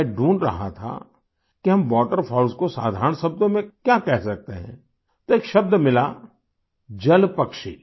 मैं ढूंढ रहा था कि हम वाटरफाउल्स को साधारण शब्दों में क्या कह सकते हैं तो एक शब्द मिला जलपक्षी